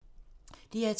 DR2